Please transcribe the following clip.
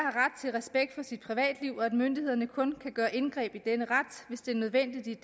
respekt for sit privatliv og at myndighederne kun kan gøre indgreb i denne ret hvis det er nødvendigt